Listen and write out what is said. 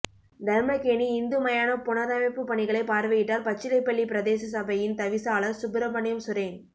தர்மக்கேணி இந்து மயானம் புனரமைப்பு பணிகளை பார்வையிடடார் பச்சிலைப்பள்ளி பிரதேச சபையின் தவிசாளர் சுப்பிரமணியம் சுரேன்